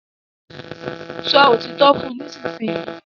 sọ òtítọ́ fún nísìsiyìí!